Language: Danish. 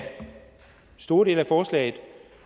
store dele af forslaget jo